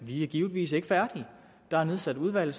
er givetvis ikke færdige der er nedsat udvalg